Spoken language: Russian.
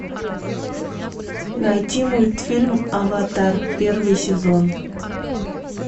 найти мультфильм аватар первый сезон